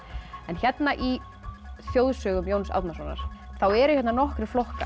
en hérna í þjóðsögum Jóns Árnasonar eru hérna nokkrir flokkar